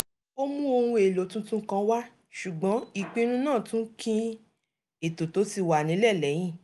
ó mú ohun èlò tuntun kan wá ṣùgbọ́n ìpinnu náà tún kín ètò tó ti wà nílẹ̀ lẹ́yìn